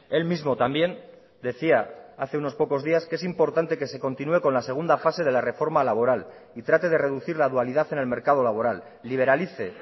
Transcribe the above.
él mismo también decía hace unos pocos días que es importante que se continúe con la segunda fase de la reforma laboral y trate de reducir la dualidad en el mercado laboral liberalice